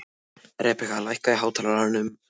Rebekka, lækkaðu í hátalaranum.